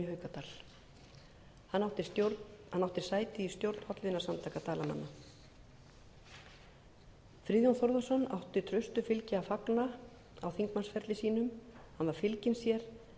haukadal hann átti sæti í stjórn hollvinasamtaka dalamanna friðjón þórðarson átti traustu fylgi að fagna á þingmannsferli sínum hann var fylginn sér en jafnan